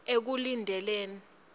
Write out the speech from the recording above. ekulindeni